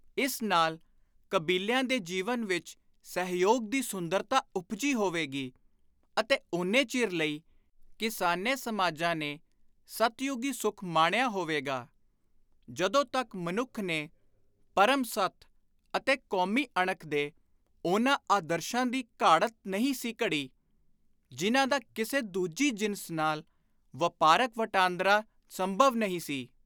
ਇਸ ਨਾਲ ਕਬੀਲਿਆਂ ਦੇ ਜੀਵਨ ਵਿਚ ਸਹਿਯੋਗ ਦੀ ਸੁੰਦਰਤਾ ਉਪਜੀ ਹੋਵੇਗੀ ਅਤੇ ਓਨੇ ਚਿਰ ਲਈ ਕਿਸਾਨੇ ਸਮਾਜਾਂ ਨੇ ਸਤਯੁਗੀ ਸੁੱਖ ਮਾਣਿਆ ਹੋਵੇਗਾ, ਜਦੋਂ ਤਕ ਮਨੁੱਖ ਨੇ ‘ਪਰਮ ਸੱਤ’ ਅਤੇ ‘ਕੌਮੀ ਅਣਖ’ ਦੇ ਉਨ੍ਹਾਂ ਆਦਰਸ਼ਾਂ ਦੀ ਘਾੜਤ ਨਹੀਂ ਸੀ ਘੜੀ, ਜਿਨ੍ਹਾਂ ਦਾ ਕਿਸੇ ਦੂਜੀ ਜਿਨਸ ਨਾਲ ਵਾਪਾਰਕ ਵਦਾਂਦਰਾ ਸੰਭਵ ਨਹੀਂ ਸੀ।